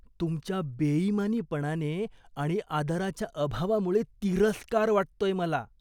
तुमच्या बेईमानीपणाने आणि आदराच्या अभावामुळे तिरस्कार वाटतोय मला.